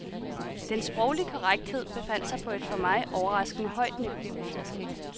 Den sproglige korrekthed befandt sig på et for mig overraskende højt niveau.